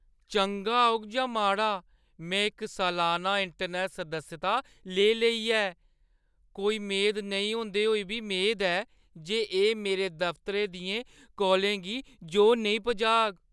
चंगा होग जां माड़ा, में इक सलाना इंटरनैट्ट सदस्यता लेई लेई ऐ, कोई मेद नेईं होंदे होई बी मेद जे एह् मेरे दफतरै दियें कॉलें गी जोह् नेईं पजाग।